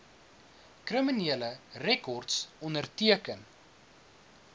kriminele rekords onderteken